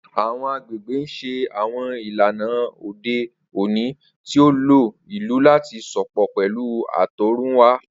Awọn agbegbe n ṣe awọn ilana ode oni ti o lo ilu lati sopọ pẹlu atọrunwa.